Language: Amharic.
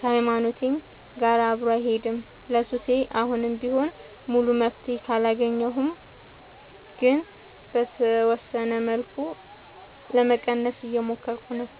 ከሀይማኖቴም ጋር አብሮ አይሄድም። ለሱሴ አሁንም ቢሆን ሙሉ መፍትሔ አላገኘሁም ግን በተወሰነ መልኩ ለመቀነስ እየሞከርኩ ነው።